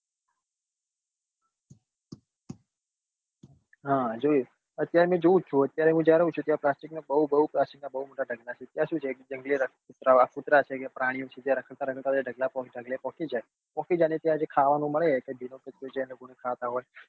હા જોયું અત્યારે જોવું જ છું અત્યારે જ્યાં રહું છું ત્યાં પ્લાસ્ટિક નું બઉ બઉ પ્લાસ્ટિક ના બઉ મોટા ઢગલા છે ત્યાં છે કે કુતરા છે કે પ્રાણી છે કે તે રખડતા રખડતા ત્યાં ઢગલે પોકી જાય પોકી જાય ને ત્યાં ખાવા નું મળે કે ભીનો કચરો છે કે